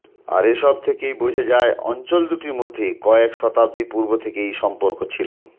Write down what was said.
আর এসব থেকেই বোঝা যায় অঞ্চল দুটির মধ্যে কয়েক শতাব্দী পূর্ব থেকেই সম্পর্ক ছিল